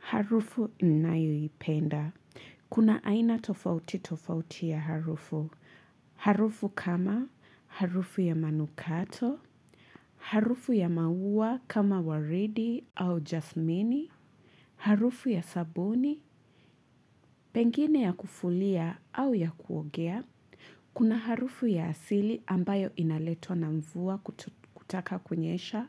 Harufu ninayo ipenda. Kuna aina tofauti tofauti ya harufu. Harufu kama harufu ya manukato, harufu ya maua kama waridi au jasmini, harufu ya sabuni, pengine ya kufulia au ya kuogea, kuna harufu ya asili ambayo inaletwa na mvua kutaka kunyesha,